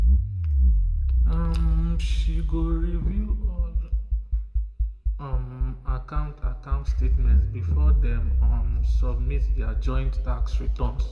um she go review all um account account statements before dem um submit their joint tax return